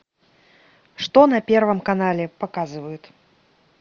что на первом канале показывают